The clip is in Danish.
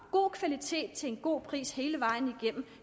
god kvalitet til en god pris hele vejen igennem